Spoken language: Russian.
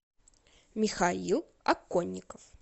михаил оконников